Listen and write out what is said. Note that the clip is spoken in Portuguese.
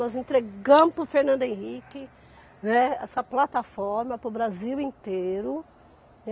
Nós entregamos para o Fernando Henrique, né, essa plataforma para o Brasil inteiro.